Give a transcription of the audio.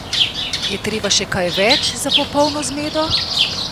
Je treba še kaj več za popolno zmedo?